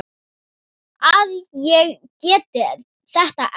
að ég geti þetta ekki.